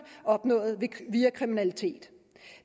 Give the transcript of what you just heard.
opnået via kriminalitet